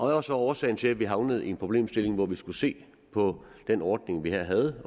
var så årsagen til at vi havnede i en problemstilling hvor vi skulle se på den ordning vi her havde